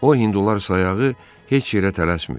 O hindular sayağı heç yerə tələsmir.